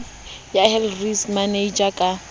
ya health risk manager ka